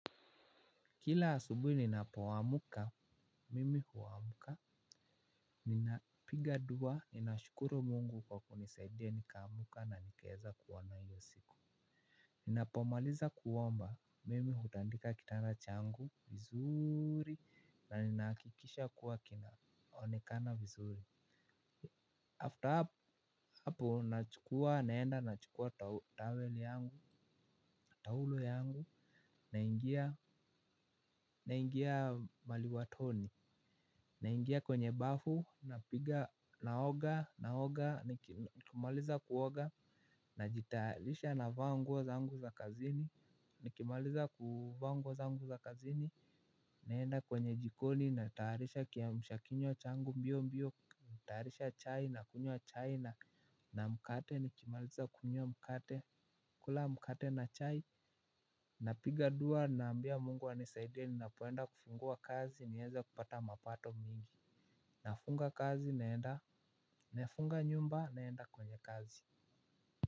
Kila asubuhi ninapoamka, mimi huamka. Ninapiga dua, ninashukuru mungu kwa kunisaidia, nikaamuka na nikaeza kuona hiyo siku. Ninapomaliza kuomba, mimi hutandika kitanda changu, vizuri, na ninakikisha kuwa kinaonekana vizuri. After hapo, nachukua, naenda, nachukua, naenda, towel yangu, taulo yangu, naingia, naingia maliwatoni. Naingia kwenye bafu napiga naoga naoga nikimaliza kuoga najitayarisha navaa nguo zangu za kazini. Nikimaliza kuvaa nguo zangu za kazini naenda kwenye jikoni natayarisha kiamsha kinywa changu mbio mbio. Tarisha chai nakunywa chai na na mkate nikimaliza kunywa mkate kula mkate na chai. Napiga dua naambia mungu anisaidie ninapoenda kufungua kazi nieze kupata mapato mingi. Nafunga kazi naenda. Nafunga nyumba naenda kwenye kazi.